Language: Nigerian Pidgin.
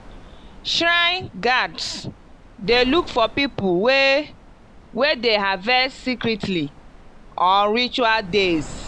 shrine guards dey look for people wey wey dey harvest secretly on ritual days.